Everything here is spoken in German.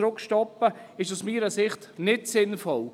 Das ist aus meiner Sicht nicht sinnvoll.